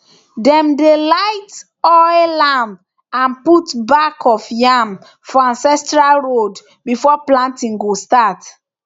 dem dey light oil lamp and put back of yam for ancestral road before planting go start